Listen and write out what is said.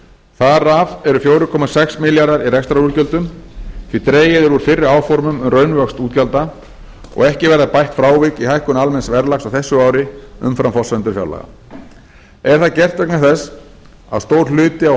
þar af eru fjögur komma sex milljarðar í rekstrarútgjöldum því dregið er úr fyrri áformum um raunvöxt útgjalda og ekki verða bætt frávik í hækkun almenns verðlags á þessu ári umfram forsendur fjárlaga er það gert vegna þess að stór hluti á